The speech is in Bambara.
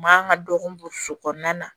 Mankan ka dɔgɔ so kɔnɔna na